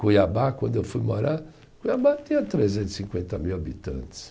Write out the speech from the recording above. Cuiabá, quando eu fui morar, Cuiabá tinha trezentos e cinquenta mil habitantes.